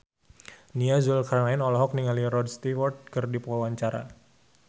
Nia Zulkarnaen olohok ningali Rod Stewart keur diwawancara